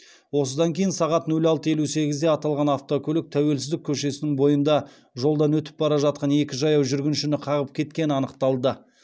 осыдан кейін сағат нөл алты елу сегізде аталған автокөлік тәуелсіздік көшесінің бойында жолдан өтіп бара жатқан екі жаяу жүргіншіні қағып кеткені анықталды